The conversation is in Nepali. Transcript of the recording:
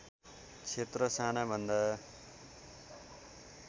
क्षेत्र साना भन्दा